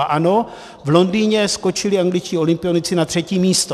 A ano, v Londýně skočili angličtí olympionici na třetím místě.